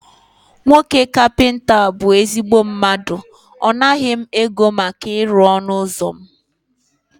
Nwoke kapịnta a bụ ezigbo mmadụ, ọ naghị m ego maka ịrụ ọnụ ụzọ mụ